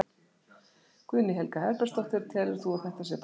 Guðný Helga Herbertsdóttir: Telur þú að þetta sé pólitískt valdatafl?